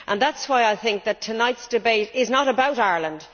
That is why I think that tonight's debate is not just about Ireland.